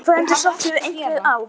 Það entist okkur einhver ár.